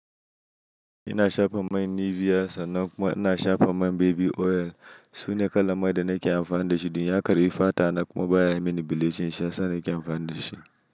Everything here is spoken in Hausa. Ina shafa man Nivea sannan kuma ina shafa man baby oil. Sune kalanman da nake amfani da shi. Eh hakane fatana kuma baya yi mini bleaching. Shi yasa na ke amfani da shi.